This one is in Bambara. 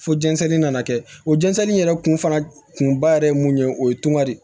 Fo jɛnsɛnni nana kɛ o jɛnsɛnni yɛrɛ kun fana kun ba yɛrɛ ye mun ye o ye tunga de